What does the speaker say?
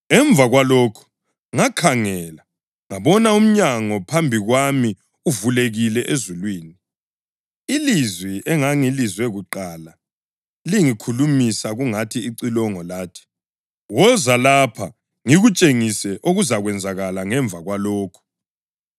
Emva kwalokhu ngakhangela, ngabona umnyango phambi kwami uvulekile ezulwini. Ilizwi engangilizwe kuqala lingikhulumisa kungathi licilongo lathi, “Woza lapha ngikutshengise okuzakwenzakala emva kwalokhu.”